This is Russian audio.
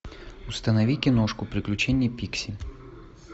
установи киношку приключения пикси